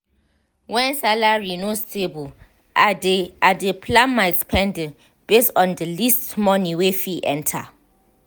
when salary no stable i dey i dey plan my spending based on the least money wey fit enter.